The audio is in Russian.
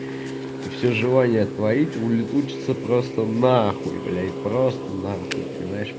всё желание творить улетучиться просто нахуй блять просто нахуй понимаешь